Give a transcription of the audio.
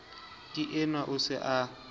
ke enwa o se a